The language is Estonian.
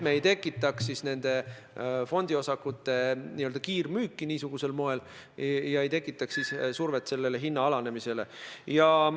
Me ei taha nende fondiosakute niisugusel moel kiirmüüki, ei taha tekitada survet hinna niisuguseks alanemiseks.